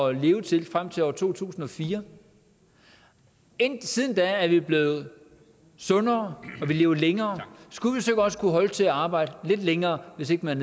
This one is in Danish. at leve til frem til år to tusind og fire siden da er vi blevet sundere og vi lever længere skulle vi så ikke også kunne holde til at arbejde lidt længere hvis ikke man